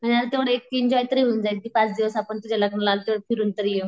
आणि आता तेव्हडा एक एन्जॉय तयारी होऊन जाईल ती पाच दिवस आपण तुझ्या लग्नाला आलो तेव्हडा फिरून तरी येऊ.